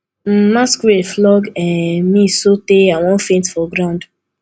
um masquerade flog um me so tey i wan faint for ground